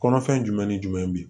Kɔnɔfɛn jumɛn ni jumɛn bi